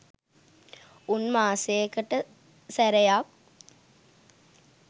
උන් මාසෙකට සැරයක්